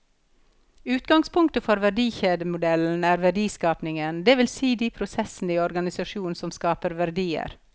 Utgangspunktet for verdikjedemodellen er verdiskapingen, det vil si de prosessene i organisasjonen som skaper verdier.